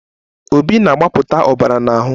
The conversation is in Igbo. Obi na-agbapụta ọbara n'ahụ